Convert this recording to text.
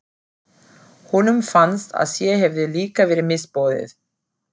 Honum fannst að sér hefði líka verið misboðið.